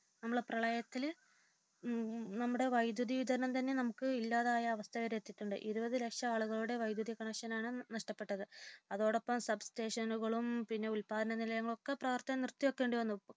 നമ്മുടെ പ്രളയത്തില് നമ്മുടെ വൈദ്യുത വിതരണം തന്നെ നമുക്ക് ഇല്ലാതായ അവസ്ഥവരെയെത്തിച്ചു ഇരുപതുലക്ഷം ആളുകളുടെ വൈദ്യുത കണക്ഷനാണ് നഷ്ടപെട്ടത് അതോടൊപ്പം സബ്സ്റ്റേഷനുകളുടെയും പിന്നെ ഉല്പാദനനിലയങ്ങളൊക്കെ പ്രവർത്തനം നിർത്തി വയ്ക്കേണ്ടി വന്നു